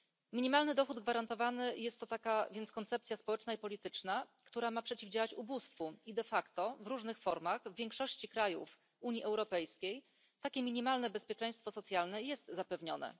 Minimalny dochód gwarantowany jest to więc taka koncepcja społeczna i polityczna, która ma przeciwdziałać ubóstwu, i de facto w różnych formach w większości krajów Unii Europejskiej takie minimalne bezpieczeństwo socjalne jest zapewnione.